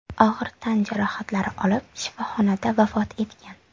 og‘ir tan jarohatlari olib, shifoxonada vafot etgan.